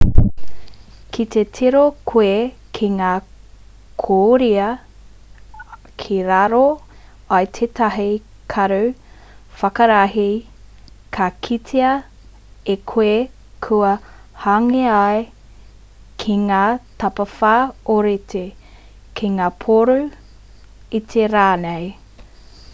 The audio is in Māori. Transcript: ki te tiro koe ki ngā koiora ki raro i tētahi karu whakarahi, ka kitea e koe kua hangaia ki ngā tapawhā ōrite ki ngā pōro iti rānei